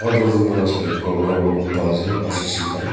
moi lah saile khor khor kunba ase R_C_C khan.